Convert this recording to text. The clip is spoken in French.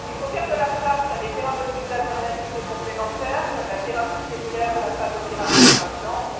Il faut ouvrir la voie à des thérapeutiques alternatives et complémentaires, comme la thérapie cellulaire ou la phagothérapie, par exemple.